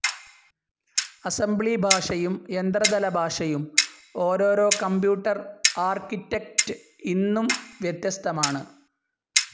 Assembly ഭാഷയും യന്ത്ര തല ഭാഷയും ഓരോരോ കമ്പ്യൂട്ടർ ആർക്കിറ്റെക്റ്റ്ഇന്നും വ്യത്യസ്തമാണ്.